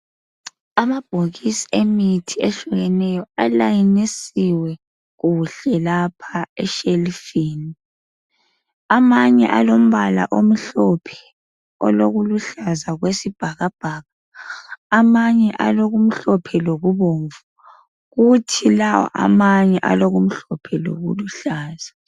Amabhokisi emithi ehlukeneyo alayinisiwe kuhle lapha eshelufini amanye alombala omhlophe olokuluhlaza okwesibhakabhaka amanye alokumhlophe lokubomvu kuthi lawo amanye alokumhlophe lokuluhlaza.